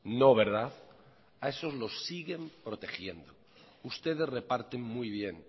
no verdad a esos lo siguen protegiendo ustedes reparten muy bien